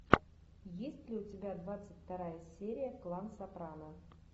есть ли у тебя двадцать вторая серия клан сопрано